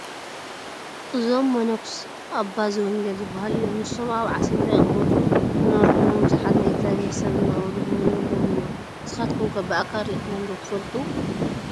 እዞም መነኮስ ኣባ ዘወንጌል ዝበሃሉ እዮም፡፡ ንሶም ኣብ ዓሲምባ ይቕመጡ ዝነበሩ ኮይኖም ብዙሓት ናይ እግዚኣብሄር ሰብ እናበሉ ጐብንዮሞም እዮም፡፡ ንስኻትኩም ከ ብኣካል ርኢኹምዎም ዶ ትፈልጡ?